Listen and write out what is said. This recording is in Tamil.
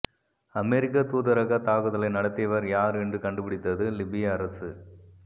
அமெரிக்க தூதரக தாக்குதலை நடத்தியவர் யார் என்று கண்டுபிடித்தது லிபிய அரசு